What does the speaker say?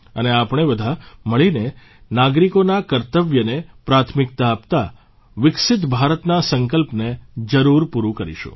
અને આપણે બધા મળીને નાગરિકોના કર્તવ્યને પ્રાથમિકતા આપતા વિકસિત ભારતના સંકલ્પને જરૂર પૂરૂં કરીશું